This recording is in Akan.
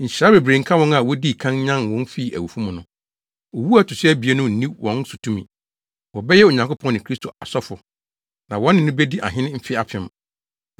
Nhyira bebree nka wɔn a wodii kan nyan wɔn fii awufo mu no. Owu a ɛto so abien no nni wɔn so tumi. Wɔbɛyɛ Onyankopɔn ne Kristo asɔfo. Na wɔne no bedi ahene mfe apem.